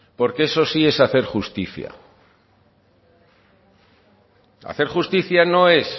porque eso sí es hacer justicia hacer justicia no es